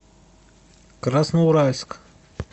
красноуральск